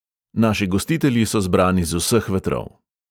Naši gostitelji so zbrani z vseh vetrov.